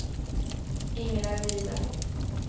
Ingela Viberg